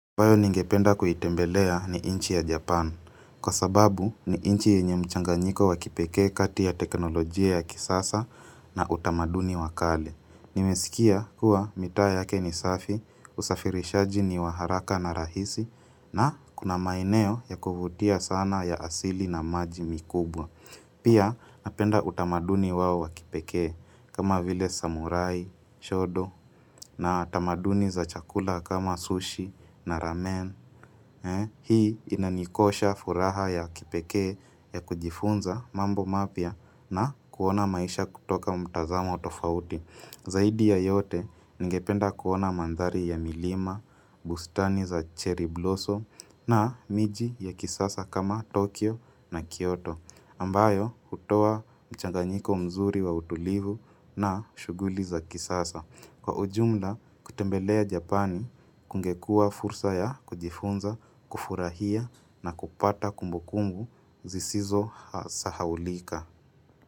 Bayo ningependa kuitembelea ni inchi ya Japan. Kwa sababu, ni inchi yenye mchanganyiko wa kipekee kati ya teknolojia ya kisasa na utamaduni wa kale. Nimesikia kuwa mitaa yake ni safi, usafirishaji ni wa haraka na rahisi, na kuna maeneo ya kuvutia sana ya asili na maji mikubwa. Pia napenda utamaduni wao wa kipekee kama vile samurai, shodo na tamaduni za chakula kama sushi na ramen. Hii inanikosha furaha ya kipekee ya kujifunza mambo mapya na kuona maisha kutoka mtazamo tofauti. Zaidi ya yote ningependa kuona mandhari ya milima, bustani za cherry blossom na miji ya kisasa kama Tokyo na Kyoto. Ambayo hutoa mchanganyiko mzuri wa utulivu na shuguli za kisasa. Kwa ujumla, kutembelea Japani kungekua fursa ya kujifunza, kufurahia na kupata kumbukumbu zisizo sahaulika.